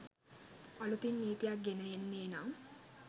අළුතින් නීතියක් ගෙන එන්නේ නම්